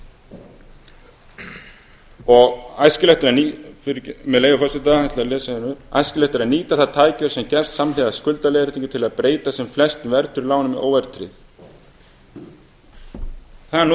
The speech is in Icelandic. lánum og æskilegt fyrirgefið með leyfi forseta ég ætla að lesa hérna upp æskilegt er að nýta það tækifæri sem gefst samhliða skuldaleiðréttingu til að breyta sem flestum verðtryggðum lánum í óverðtryggð það er nú